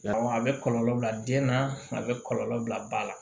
Yarɔ a bɛ kɔlɔlɔ bila den na a bɛ kɔlɔlɔ bila ba la